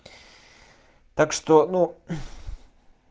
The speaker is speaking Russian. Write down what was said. так что ну